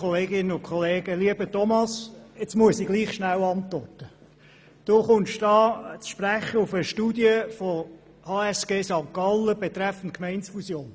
Knutti spricht über eine Studie der HSG St. Gallen über Gemeindefusionen.